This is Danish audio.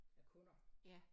Af kunder